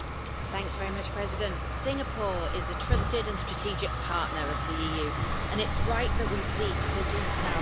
Mr President, Singapore is a trusted and strategic partner of the EU and it's right that we seek to deepen our relations.